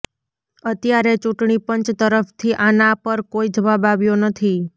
અત્યારે ચૂંટણી પંચ તરફથી આના પર કોઈ જવાબ આવ્યો નથી